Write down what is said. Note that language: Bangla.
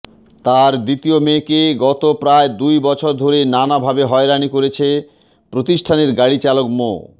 তার দ্বিতীয় মেয়েকে গত প্রায় দুই বছর ধরে নানাভাবে হয়রানি করছেন প্রতিষ্ঠানে গাড়ি চালক মো